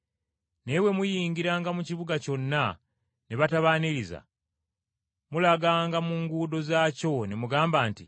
Naye bwe muyingiranga mu kibuga kyonna ne batabaaniriza, mulaganga mu nguudo zaakyo ne mugamba nti,